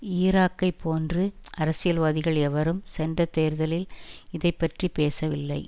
ஈராக்கைப் போன்று அரசியல்வாதிகள் எவரும் சென்ற தேர்தலில் இதை பற்றி பேசவில்லை